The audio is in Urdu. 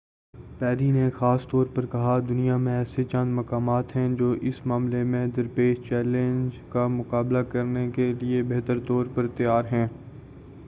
پیری نے خاص طور پر کہا دنیا میں ایسے چند مقامات ہیں جو اس معاملے میں درپیش چیلنج کا مقابلہ کرنے کیلئے بہتر طور پر تیار ہیں